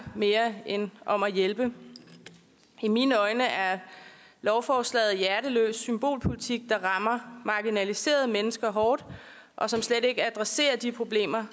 end om at hjælpe i mine øjne er lovforslaget hjerteløs symbolpolitik der rammer marginaliserede mennesker hårdt og som slet ikke adresserer de problemer